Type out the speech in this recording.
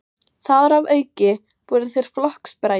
Þar að auki voru þeir flokksbræður.